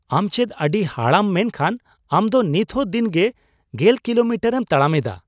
ᱟᱢ ᱪᱮᱫ ᱟᱹᱰᱤ ᱦᱟᱲᱟᱢ ᱢᱮᱱᱠᱷᱟᱱ ᱟᱢ ᱫᱚ ᱱᱤᱛᱦᱚᱸ ᱫᱤᱱᱜᱮ ᱑᱐ ᱠᱤᱞᱳᱢᱤᱴᱟᱨᱼᱮᱢ ᱛᱟᱲᱟᱢᱮᱫᱟ ᱾